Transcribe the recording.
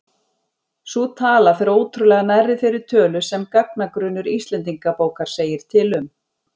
Sú tala fer ótrúlega nærri þeirri tölu sem gagnagrunnur Íslendingabókar segir til um.